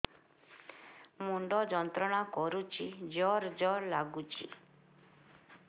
ମୁଣ୍ଡ ଯନ୍ତ୍ରଣା କରୁଛି ଜର ଜର ଲାଗୁଛି